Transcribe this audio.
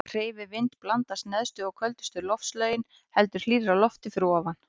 Hreyfi vind blandast neðstu og köldustu loftlögin heldur hlýrra lofti fyrir ofan.